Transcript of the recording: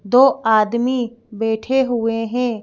दो आदमी बैठे हुए हैं।